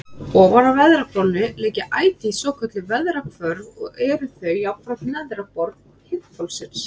Ofan á veðrahvolfinu liggja ætíð svokölluð veðrahvörf og eru þau jafnframt neðra borð heiðhvolfsins.